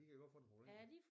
De kan godt få nogle problemer